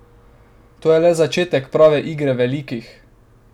To je le začetek prave igre velikih!